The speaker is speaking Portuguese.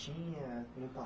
tinha no